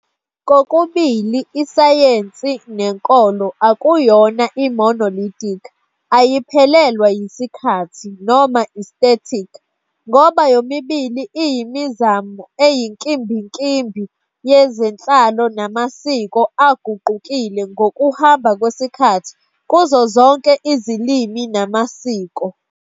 Kokubili isayensi nenkolo akuyona i-monolithic, ayiphelelwa yisikhathi, noma i-static ngoba yomibili iyimizamo eyinkimbinkimbi yezenhlalo namasiko aguqukile ngokuhamba kwesikhathi kuzo zonke izilimi namasiko.